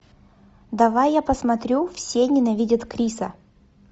давай я посмотрю все ненавидят криса